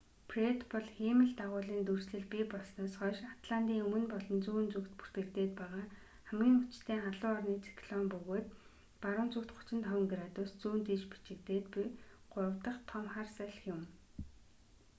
фред бол хиймэл дагуулын дүрслэл бий болсноос хойш атлантын өмнө болон зүүн зүгт бүртгэгдээд байгаа хамгийн хүчтэй халуун орны циклон бөгөөд баруун зүгт 35 градус зүүн тийш бичигдээд буй гурав дах том хар салхи юм